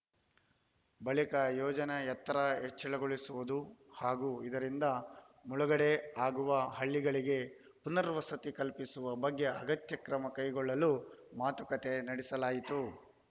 ಬಳಿಕ ಯೋಜನೆ ಎತ್ತರ ಹೆಚ್ಚಳಗೊಳಿಸುವುದು ಹಾಗೂ ಇದರಿಂದ ಮುಳುಗಡೆ ಆಗುವ ಹಳ್ಳಿಗಳಿಗೆ ಪುನರ್‌ವಸತಿ ಕಲ್ಪಿಸುವ ಬಗ್ಗೆ ಅಗತ್ಯ ಕ್ರಮ ಕೈಗೊಳ್ಳಲು ಮಾತುಕತೆ ನಡೆಸಲಾಯಿತು